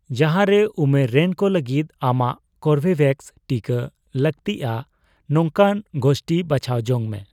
ᱡᱟᱦᱟᱸ ᱨᱮ ᱩᱢᱮᱨ ᱨᱮᱱ ᱠᱚ ᱞᱟᱹᱜᱤᱫ ᱟᱢᱟᱜ ᱠᱳᱨᱵᱤᱵᱷᱮᱠᱥ ᱴᱤᱠᱟ ᱞᱟᱹᱜᱽᱛᱤᱜᱼᱟ ᱱᱚᱝᱠᱟᱱ ᱜᱳᱥᱴᱷᱤ ᱵᱟᱪᱷᱟᱣ ᱡᱚᱝ ᱢᱮ ᱾